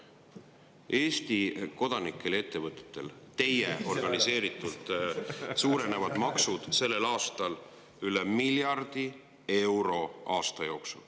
Eesti kodanike ja ettevõtete maksud suurenevad teie organiseeritult sellel aastal üle miljardi euro.